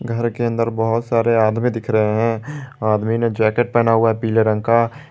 घर के अंदर बहुत सारे आदमी दिख रहे हैं आदमी ने जैकेट पहना हुआ है पीले रंग का।